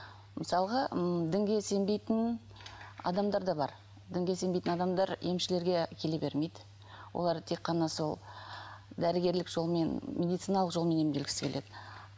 мысалға м дінге сенбейтін адамдар да бар дінге сенбейтін адамдар емшілерге келе бермейді олар тек қана сол дәрігерлік жолмен медициналық жолмен емделгісі келеді